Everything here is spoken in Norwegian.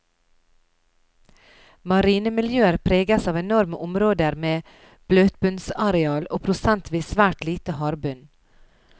Marine miljøer preges av enorme områder med bløtbunnsareal, og prosentvis svært lite hardbunn.